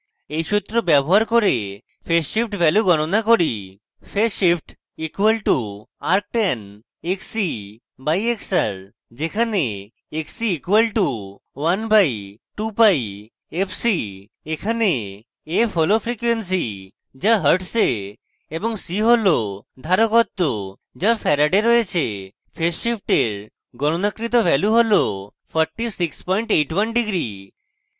এই xr ব্যবহার করে phase shift value গণনা করি: φ phase shift = arctan xc/xr যেখানে xc = 1/2πfc